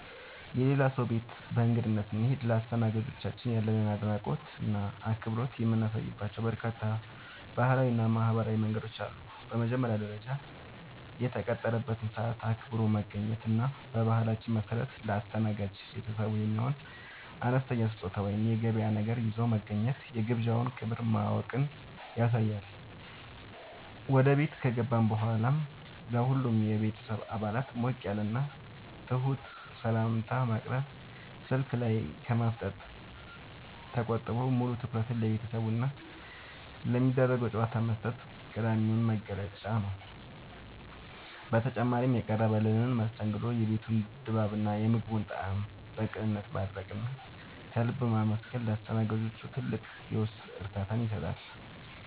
የሌላ ሰው ቤት በእንግድነት ስንሄድ ለአስተናጋጆቻችን ያለንን አድናቆትና አክብሮት የምናሳይባቸው በርካታ ባህላዊና ማኅበራዊ መንገዶች አሉ። በመጀመሪያ ደረጃ፣ የተቀጠረበትን ሰዓት አክብሮ መገኘት እና በባህላችን መሠረት ለአስተናጋጅ ቤተሰቡ የሚሆን አነስተኛ ስጦታ ወይም የገበያ ነገር ይዞ መግባት የግብዣውን ክብር ማወቅን ያሳያል። ወደ ቤት ከገባን በኋላም ለሁሉም የቤተሰብ አባላት ሞቅ ያለና ትሑት ሰላምታ ማቅረብ፣ ስልክ ላይ ከማፍጠጥ ተቆጥቦ ሙሉ ትኩረትን ለቤተሰቡና ለሚደረገው ጨዋታ መስጠት ቀዳሚው መገለጫ ነው። በተጨማሪም፣ የቀረበልንን መስተንግዶ፣ የቤቱን ድባብና የምግቡን ጣዕም በቅንነት ማድነቅና ከልብ ማመስገን ለአስተናጋጆቹ ትልቅ የውስጥ እርካታን ይሰጣል።